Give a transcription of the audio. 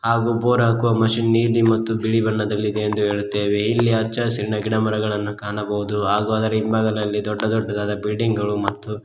ಹಾಗೂ ಬೋರ್ ಹಾಕುವ ಮಷಿನ್ ನ ಇದೆ ಮತ್ತು ಬಿಳಿ ಬಣ್ಣದಲ್ಲಿ ಇದೆ ಎಂದು ಹೇಳುತ್ತೇವೆ ಇಲ್ಲಿ ಹಚ್ಚ ಹಸುರಿನ ಗಿಡ ಮರಗಳನ್ನ ಕಾಣಬಹುದು ಹಾಗೂ ಅದರ ಹಿಂಭಾಗನಲ್ಲಿ ದೊಡ್ಡ ದೊಡ್ಡದಾದ ಬಿಲ್ಡಿಂಗ್ ಗಳು ಮತ್ತು--